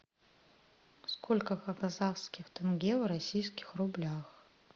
сколько казахских тенге в российских рублях